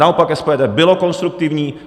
Naopak SPD bylo konstruktivní.